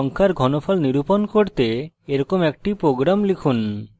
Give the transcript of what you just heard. একইরকম একটি প্রোগ্রাম লিখুন